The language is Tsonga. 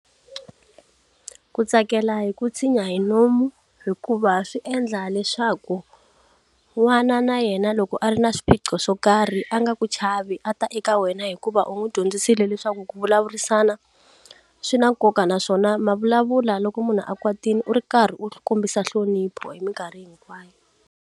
Ku tsakela hi ku tshinya hi nomu hikuva swi endla leswaku n'wana na yena loko a ri na swiphiqo swo karhi a nga ku chavi a ta eka wena hikuva u n'wi dyondzisile leswaku ku vulavurisana swi na nkoka naswona ma vulavula loko munhu a kwatile u ri karhi u kombisa nhlonipho hi minkarhi hinkwayo.